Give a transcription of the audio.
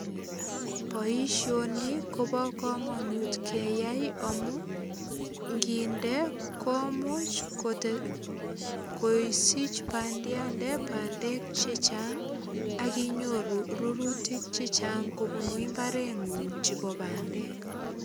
Boisioni kobo kamanut keyai amu nginde komuch kote, kosich bandiatet bandek che chang ak inyoru rurutik chechang kobunu imbarengung chebo bandek.